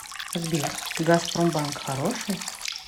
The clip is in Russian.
сбер газпромбанк хороший